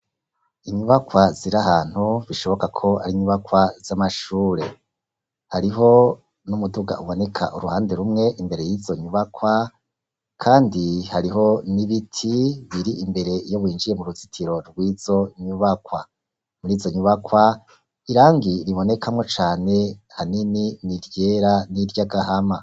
Inyubakwa ziri ahantu bishoboka ko ari nyubakwa z'amashure, hariho n'umuduga uboneka uruhande rumwe imbere y'izo nyubakwa kandi hariho n'ibiti biri imbere yo winjiye mu ruzitiro rw'izo nyubakwa, murizo nyubakwa irangi ribonekamwo cane hanini niryera n'iryagahama.